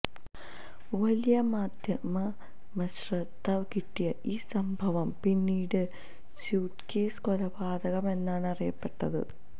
വലിയ മാധ്യമശ്രദ്ധ കിട്ടിയ ഈ സംഭവം പിന്നീട് സ്യൂട്കേസ് കൊലപാതകം എന്നാണ് അറിയപ്പെട്ടത്